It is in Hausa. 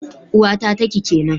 Uwata taki kenan